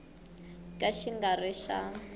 ka xi nga ri xa